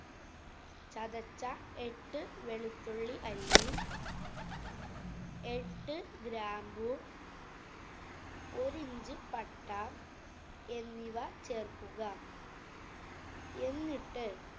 ചതച്ച എട്ട് വെളുത്തുള്ളി അല്ലി, എട്ട് ഗ്രാമ്പു, ഒരി inch പട്ട, എന്നിവ ചേര്‍ക്കുക. എന്നിട്ട്